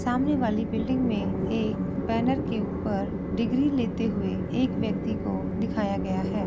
सामने वाली बिल्डिंग में एक बैनर के ऊपर डिग्री लेते हुए एक व्यक्ति को दिखाया गया है।